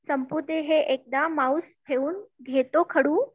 संपु दे हे एकदा माऊस ठेऊन घेतो खडू